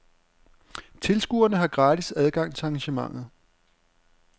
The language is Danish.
Tilskuere har gratis adgang til arrangementet.